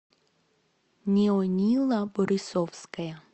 неонила борисовская